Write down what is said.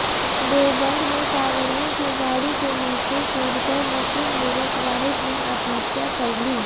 देवबंद में कांवड़ियों की गाड़ी के नीचे कूदकर मुस्लिम युवक वाहिद ने आत्महत्या कर ली